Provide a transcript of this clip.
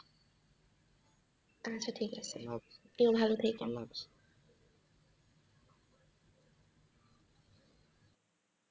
আচ্ছা ঠিক আছে তুমি ভালো থাকেন